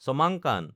Chomangkan